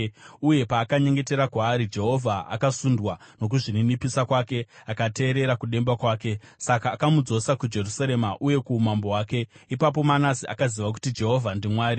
Uye paakanyengetera kwaari, Jehovha akasundwa nokuzvininipisa kwake akateerera kudemba kwake. Saka akamudzosa kuJerusarema uye kuumambo hwake. Ipapo Manase akaziva kuti Jehovha ndiMwari.